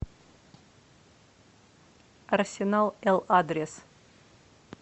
арсенал л адрес